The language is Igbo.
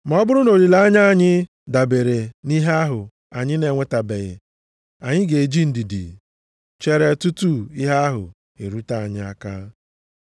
Ma ọ bụrụ na olileanya anyị dabeere nʼihe ahụ anyị na-enwetabeghị, anyị ga-eji ndidi chere tutu ihe ahụ erute anyị aka.